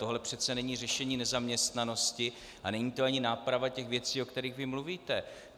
Tohle přece není řešení nezaměstnanosti a není to ani náprava těch věcí, o kterých vy mluvíte.